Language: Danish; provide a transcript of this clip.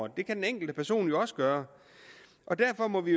det kan den enkelte person jo også gøre derfor må vi